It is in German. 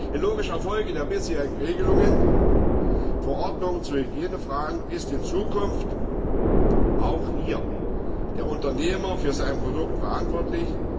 In logischer Folge der bisherigen Verordnungen zu Hygienefragen ist in Zukunft auch hier der Unternehmer für sein Produkt verantwortlich.